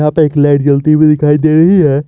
Light जलती हुई दिखाई दे रही है।